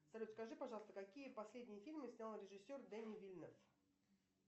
салют скажи пожалуйста какие последние фильмы снял режиссер дени вильнев